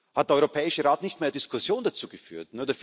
Hat der Europäische Rat nicht mehr Diskussionen dazu geführt?